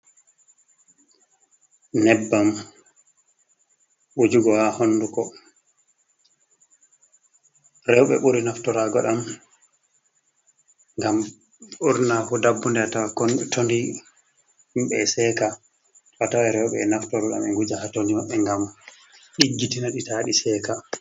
Nƴebbam wuujugo haa hunduko. Rooɓe ɓuri naftoraago ɗam, ngam ɓurna fuu dabbunde a tawan tondi himɓe e seeka. A tawan rooɓe e naftoro ɗam e wuja haa tondi maɓɓe ngam ɗiggitina ɗi, ta ɗi seeka.